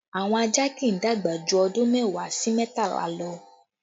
Àwọn ajá kì í dàgbà jù ọdún mẹ́wàá sí mẹ́tàlá lọ